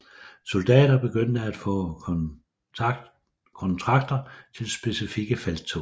Soldater begyndte at få kontrakter til specifikke felttog